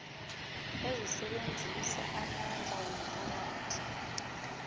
ezisebenzisa amandla womphakathi